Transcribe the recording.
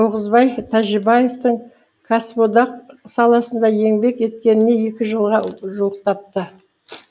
тоғызбай тәжібаевтің кәсіподақ саласында еңбек еткеніне екі жылға жуықтапты